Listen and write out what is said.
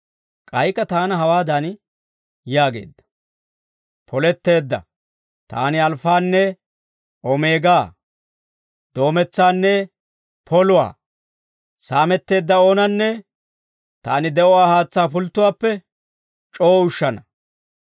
K'aykka taana hawaadan yaageedda; «Poletteedda. Taani Alfaanne Omeegaa; Doometsaanne Poluwaa. Saametteedda oonanne Taani de'uwaa haatsaa pulttuwaappe c'oo ushshana.